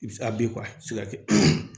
I bɛ se a bin a tɛ se ka kɛ